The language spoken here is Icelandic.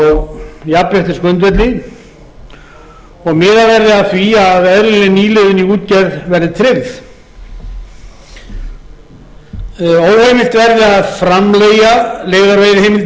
á jafnréttisgrundvelli og miðað verði að því að eðlileg nýliðun í útgerð verði tryggð óheimilt verði að framleigja leigðar veiðiheimildir tekjur